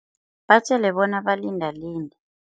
Batjele bona balinda linde.